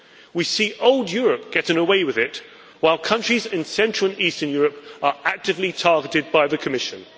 We see old Europe getting away with it, while countries in Central and Eastern Europe are actively targeted by the Commission.